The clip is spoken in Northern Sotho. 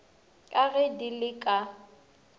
ka ge di le ka